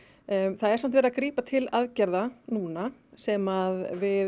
það er samt verið að grípa til aðgerða núna sem við